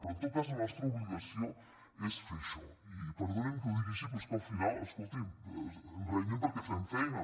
però en tot cas la nostra obli·gació és fer això i perdonin que ho digui així però és que al final escoltin ens renyen perquè fem feina